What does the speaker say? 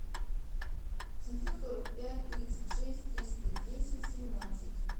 семьсот сорок пять тридцать шесть триста десять семнадцать